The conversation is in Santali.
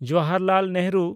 ᱡᱚᱣᱦᱚᱨᱞᱟᱞ ᱱᱮᱦᱨᱩ